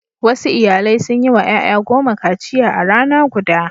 Wasu iyalai sun yi wa ƴaƴa goma kaciya a rana guda.